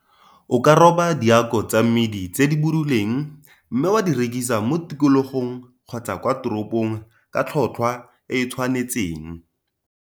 O ka roba diako tsa mmidi tse di buduleng mme wa di rekisa mo tikologong kgotsa kwa toropong ka tlhotlhwa e e tshwanetseng.